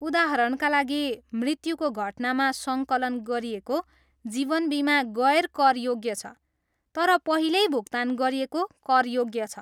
उदाहरणका लागि, मृत्युको घटनामा सङ्कलन गरिएको जीवन बिमा गैर करयोग्य छ, तर पहिल्यै भुक्तान गरिएको करयोग्य छ।